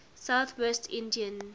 south west england